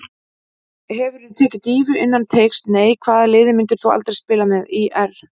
Hefurðu tekið dýfu innan teigs: Nei Hvaða liði myndir þú aldrei spila með: ÍR